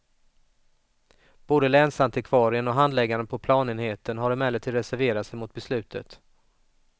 Både länsantikvarien och handläggaren på planenheten har emellertid reserverat sig mot beslutet.